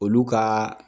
Olu ka